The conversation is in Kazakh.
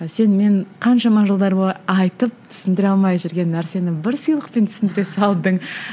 сен мен қаншама жылдар бойы айтып түсіндіре алмай жүрген нәрсені бір сыйлықпен түсіндіре салдың